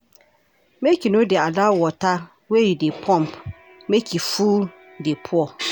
Make you no dey allow water wey you dey pump make e full dey pour.